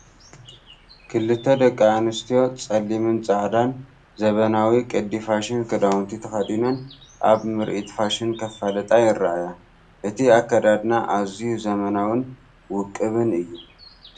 ክልተ ደቂ ኣንስትዮ ጸሊምን ጻዕዳን ዘበናዊ ቅዲ ፋሽን ክዳውንቲ ተኸዲነን ኣብ ምርኢት ፋሽን ከፋልጣ ይርኣያ። እቲ ኣከዳድና ኣዝዩ ዘመናውን ውቁብን እዩ።